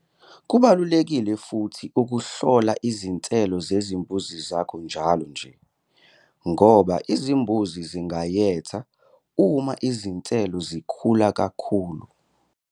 Kubalulekile futhi ukuhlola izinselo zezimbuzi zakho njalo nje ngoba izimbuzi zingayetha uma izinselo zikhula kakhulu.